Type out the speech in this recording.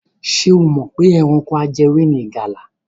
Ṣé o mọ̀ pé ẹranko ajẹwé ni ìgalà?